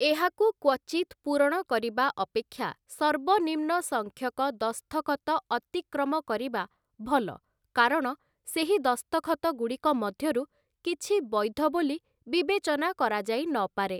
ଏହାକୁ କ୍ୱଚିତ୍ ପୂରଣ କରିବା ଅପେକ୍ଷା ସର୍ବନିମ୍ନ ସଂଖ୍ୟକ ଦସ୍ତଖତଅତିକ୍ରମ କରିବା ଭଲ କାରଣ ସେହି ଦସ୍ତଖତଗୁଡ଼ିକ ମଧ୍ୟରୁ କିଛି ବୈଧ ବୋଲି ବିବେଚନା କରାଯାଇନପାରେ ।